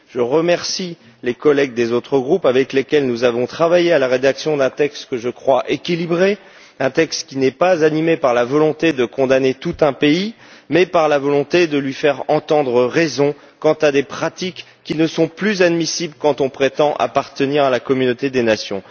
Je remercie les collègues des autres groupes avec lesquels nous avons travaillé à la rédaction d'un texte que je crois équilibré, un texte qui n'est pas animé par la volonté de condamner tout un pays, mais par la volonté de lui faire entendre raison quant à des pratiques qui ne sont plus admissibles quand on prétend appartenir à la communauté des nations.